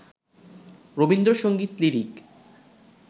Rabindra Sangeet lyric